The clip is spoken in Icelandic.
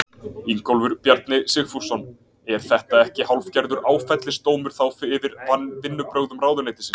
Ingólfur Bjarni Sigfússon: Er þetta ekki hálfgerður áfellisdómur þá yfir vinnubrögðum ráðuneytisins?